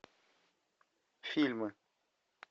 фильмы